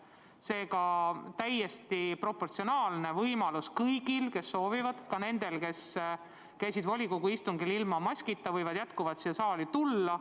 Seega on kõigil, kes soovivad, ka neil, kes käisid volikogu istungil ilma maskita, võimalus siia saali tulla.